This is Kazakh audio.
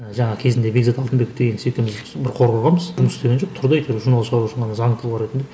жаңа кезінде бекзат алтынбеков деген бір қор құрғанбыз жұмыс істеген жоқ тұрды әйтеуір заңды тұлға ретінде